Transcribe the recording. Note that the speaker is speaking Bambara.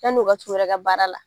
Yann'u ka t'u yɛrɛ ka baara la